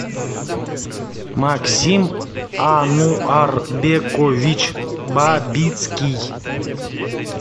максим ануарбекович бабицкий